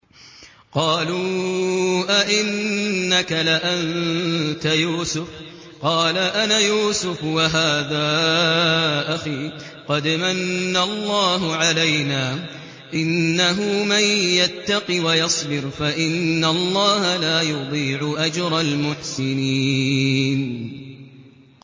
قَالُوا أَإِنَّكَ لَأَنتَ يُوسُفُ ۖ قَالَ أَنَا يُوسُفُ وَهَٰذَا أَخِي ۖ قَدْ مَنَّ اللَّهُ عَلَيْنَا ۖ إِنَّهُ مَن يَتَّقِ وَيَصْبِرْ فَإِنَّ اللَّهَ لَا يُضِيعُ أَجْرَ الْمُحْسِنِينَ